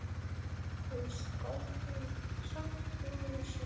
Hann saknaði sín.